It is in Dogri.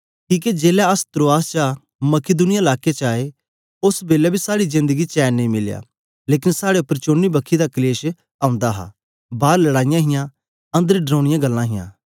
किके जेलै अस त्रोआस चा मकिदुनिया लाके च आए ओस बेलै बी साड़ी जेंद गी चैन नेई मिलया लेकन साड़े उपर चौनी बक्खी दा कलेश औंदे हे बार लड़ाईयां हियां अन्दर डरौनीयां गल्लां हियां